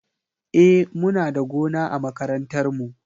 E, muna da gona a makarantar mu.